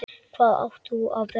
Hvað átt þú af börnum?